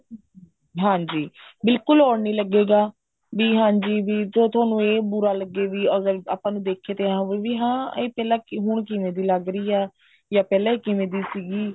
ਹਾਂਜੀ ਬਿਲਕੁਲ odd ਨਹੀਂ ਲੱਗੇਗਾ ਵੀ ਹਾਂਜੀ ਵੀ ਜੋ ਤੁਹਾਨੂੰ ਇਹ ਬੁਰਾ ਲੱਗੇ ਵੀ ਅਗਰ ਆਪਾਂ ਨੂੰ ਦੇਖੇ ਤੇ ਐ ਹੋਵੇ ਵੀ ਹਾਂ ਇਹ ਪਹਿਲਾਂ ਇਹ ਹੁਣ ਕਿਵੇਂ ਦੀ ਲੱਗ ਰਹੀ ਹੈ ਜਾਂ ਪਹਿਲਾਂ ਇਹ ਕਿਵੇਂ ਦੀ ਸੀਗੀ